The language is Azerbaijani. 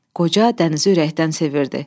Qoca dənizi ürəkdən sevirdi.